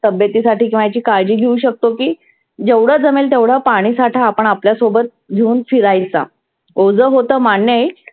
तबेतीसाठी किंवा एक काळजी घेऊ शकतो की जेव्हढ जमेल तेव्हड पाणि साठा आपण आपल्या सोबत घेऊन फिरायचा. ओझ होत मान्य आहे,